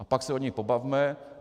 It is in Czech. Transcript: A pak se o nich pobavme.